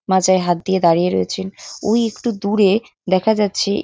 মাজায় হাত দিয়ে দাঁড়িয়ে রয়েছেন ওই একটু দূরে দেখা যাচ্ছে।